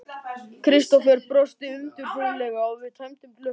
Kristófer brosti undirfurðulega og við tæmdum glösin.